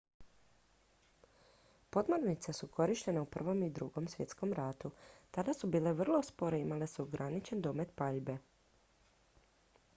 podmornice su korištene u i i ii svjetskom ratu tada su bile vrlo spore i imale su ograničen domet paljbe